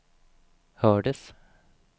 hördes